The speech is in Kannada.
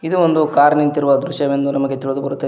ಇದು ಒಂದು ಕಾರ್ ನಿಂತಿರುವ ದೃಶ್ಯವೆಂದು ನಮಗೆ ತಿಳಿದು ಬರುತ್ತದೆ.